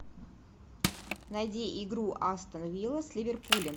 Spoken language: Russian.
найди игру астон вилла с ливерпулем